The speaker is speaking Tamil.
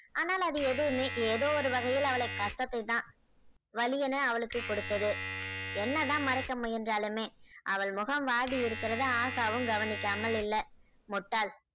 ஆனால் அது எதுவுமே ஏதோ ஒரு வகையில் அவளை கசப்பைதான் வலியென அவளுக்கு கொடுத்தது என்னதான் மறைக்க முயன்றாலுமே அவள் முகம் வாடியிருக்கிறது ஆசாவும் கவனிக்காமல் இல்ல முட்டாள்